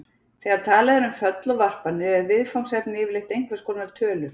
Þegar talað er um föll og varpanir er viðfangsefnið yfirleitt einhvers konar tölur.